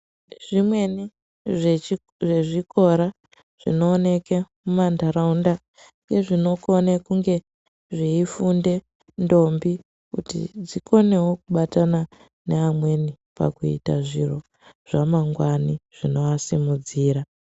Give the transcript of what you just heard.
Zvimweni zvezvikora zvinooneka mumantaraunda ezvinokone kunge zveifunde ndombi kuti dzikonewo kubatana neamweni pakuita zviro zvamangwani zvinoasimudzira.